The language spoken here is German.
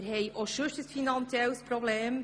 Wir haben auch sonst ein finanzielles Problem.